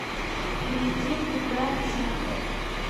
перейди в игра ксенофонт